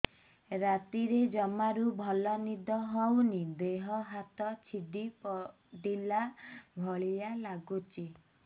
ରାତିରେ ଜମାରୁ ଭଲ ନିଦ ହଉନି ଦେହ ହାତ ଛିଡି ପଡିଲା ଭଳିଆ ଲାଗୁଚି